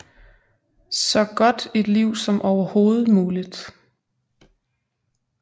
Så godt et liv som overhovedet muligt